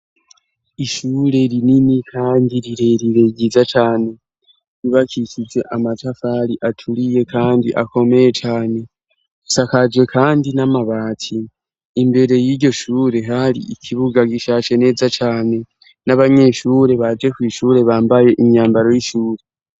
Ishure rinini kandi rirerire, ryiza cane. Ryubakishije amatafari aturiye kandi akomeye cane, asakaje kandi n'amabati. Imbere y'iryo shure hari ikibuga gishashe neza cane, n'abanyeshure baje kw' ishure bambaye imyambaro y'ishure.